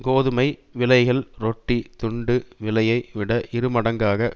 கோதுமை விலைகள் ரொட்டித் துண்டு விலையை விட இரு மடங்காக